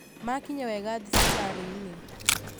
Makinya wega thibitarĩ-inĩ